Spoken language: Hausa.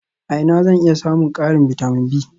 A ina zan iya samun ƙarin bitamin B?